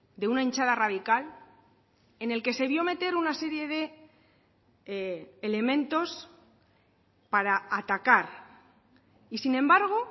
de una hinchada radical en el que se vio meter una serie de elementos para atacar y sin embargo